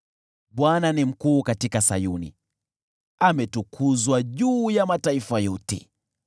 Bwana ni mkuu katika Sayuni; ametukuzwa juu ya mataifa yote.